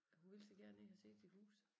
At hun ville så gerne nede og have set dit hus